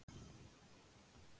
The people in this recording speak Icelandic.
Oddi